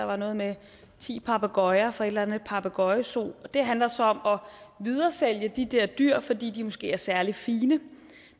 var noget med ti papegøjer fra en eller anden papegøjezoo og det handler så om at videresælge de der dyr fordi de måske er særlig fine